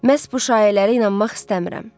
Məhz bu şayiələrə inanmaq istəmirəm.